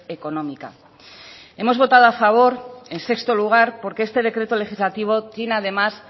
económica hemos votado a favor en sexto lugar porque este decreto legislativo tiene además